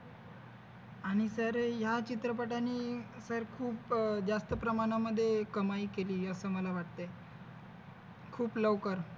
आणि सर या चित्रपटाने तर खूप अह जास्त प्रमाणामध्ये कमाई केली अस मला वाटतय लवकर